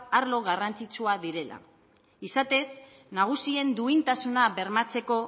arlo garrantzitsua direla izatez nagusien duintasuna bermatzeko